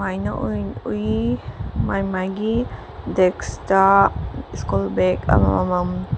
ꯑꯩꯅ ꯎꯏ ꯃꯥꯏ ꯃꯥꯏꯒꯤ ꯗꯦꯛꯁꯇ ꯁ꯭ꯀꯨꯜ ꯕꯦꯛ ꯑꯃꯃꯝ --